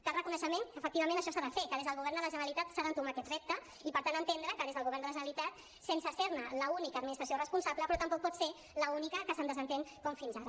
cal reconeixement que efectivament això s’ha de fer que des del govern de la generalitat s’ha d’entomar aquest repte i per tant entendre que des del govern de la generalitat sense ser ne l’única administració responsable però tampoc pot ser l’única que se’n desentén com fins ara